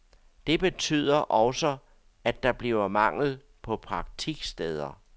Det betyder også, at der bliver mangel på praktiksteder.